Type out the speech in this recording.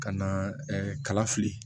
Ka na kala fili